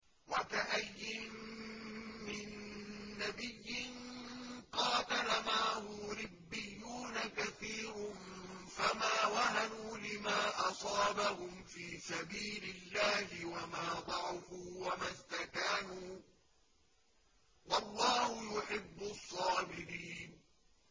وَكَأَيِّن مِّن نَّبِيٍّ قَاتَلَ مَعَهُ رِبِّيُّونَ كَثِيرٌ فَمَا وَهَنُوا لِمَا أَصَابَهُمْ فِي سَبِيلِ اللَّهِ وَمَا ضَعُفُوا وَمَا اسْتَكَانُوا ۗ وَاللَّهُ يُحِبُّ الصَّابِرِينَ